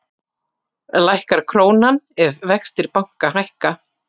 lækkar krónan ef vextir banka hækka